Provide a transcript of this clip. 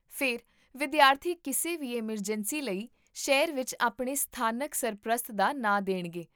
ਫਿਰ, ਵਿਦਿਆਰਥੀ ਕਿਸੇ ਵੀ ਐੱਮਰਜੈਂਸੀ ਲਈ ਸ਼ਹਿਰ ਵਿੱਚ ਆਪਣੇ ਸਥਾਨਕ ਸਰਪ੍ਰਸਤ ਦਾ ਨਾਮ ਦੇਣਗੇ